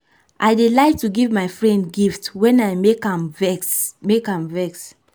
i dey like to give my friend gift wen i make am vex make am vex